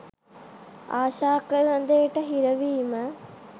ආශා කරන දේට හිරවීම